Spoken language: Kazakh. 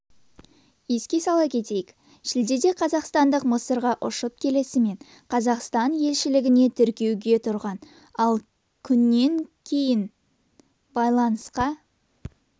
еске сала кетейік шілдеде қазақстандық мысырға ұшып келісімен қазақстан елшілігіне тіркеуге тұрған ал күннен кейін байланысқа